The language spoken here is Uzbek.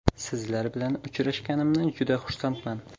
Sizlar bilan uchrashganimdan juda xursandman.